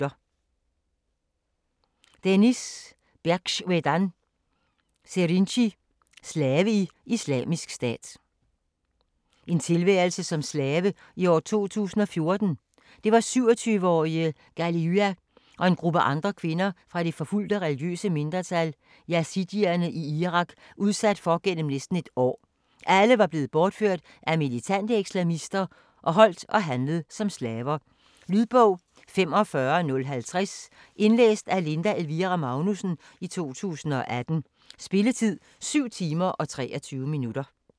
Serinci, Deniz Berxwedan: Slave i Islamisk Stat En tilværelse som slave i år 2014. Det var 27-årige Ghaliya og en gruppe andre kvinder fra det forfulgte, religiøse mindretal yazidierne i Irak udsat for igennem næsten et år. Alle var blevet bortført af militante islamister og holdt og handlet som slaver. Lydbog 45050 Indlæst af Linda Elvira Magnussen, 2018. Spilletid: 7 timer, 23 minutter.